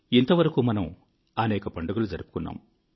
ఇంతవరకు మనం అనేక పండుగలు జరుపుకున్నాము